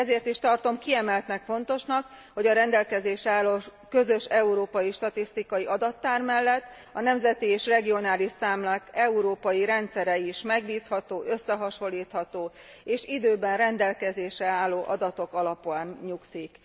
Ezért is tartom kiemelten fontosnak, hogy a rendelkezésre álló közös európai statisztikai adattár mellett a nemzeti és regionális számlák európai rendszere is megbízható, összehasonlítható és időben rendelkezésre álló adatokon nyugszik.